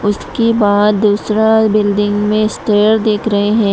इसके बाद दूसरा बिल्डिंग में स्टेयर दिख रहे हैं।